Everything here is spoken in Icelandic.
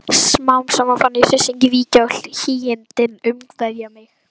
Smám saman fann ég hryssinginn víkja og hlýindin umvefja mig.